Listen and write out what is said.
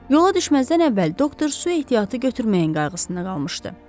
Yola düşməzdən əvvəl doktor su ehtiyatı götürməyən qayğısında qalmışdı.